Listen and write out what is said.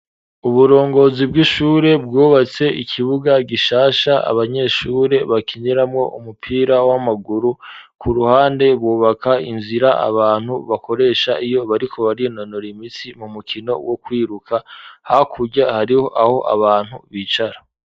Uburongozi bw'ishure bwubatse ikibuga gishasha abanyeshure bakiniramwo umupira w'amaguru ku ruhande bubaka inzira abantu bakoresha iyo bariko barinonora imitsi mu mukino wo kwiruka hakurya hariho aho abantu bicara